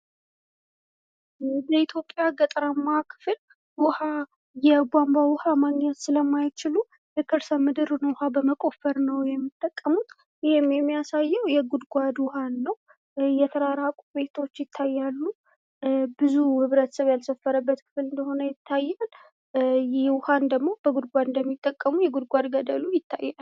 የኢትዮጵያ ገጠራማ ክፍል የዉኃ ባንቧ ማግኘት ስለማይችሉ የከርሰ ምድር ዉኃ በመቆፈር ነዉ የሚጠቀሙት። ይህም የሚያሳየዉ የጉድጓድ ዉኃን ነዉ። የተራራቁ ቤቶችን ይታያሉ።